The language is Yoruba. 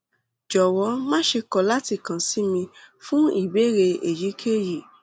jọwọ máṣe kọ láti tún kàn sí mi fún ìbéèrè èyíkéyìí